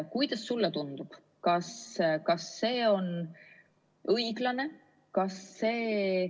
Kuidas sulle tundub, kas see on õiglane?